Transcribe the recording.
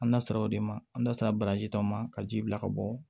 An da sera o de ma an da sera baraji dɔ ma ka ji bila ka bɔ